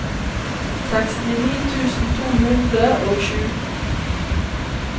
sekstini tusen to hundre og sju